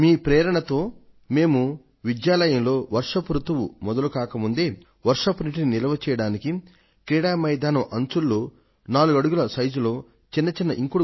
మీ ప్రేరణతో మేము విద్యాలయంలో వర్ష రుతువు మొదలు కాక ముందే వర్షపు నీటిని నిల్వ చేయడానికి క్రీడా మైదానం అంచులలో 4 అడుగుల లోతు చిన్న చిన్న ఇంకుడు గుంతలను 250 దాకా తవ్వించాం